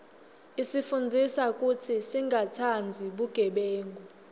isifundzisa kutsi singatsandzi bugebengu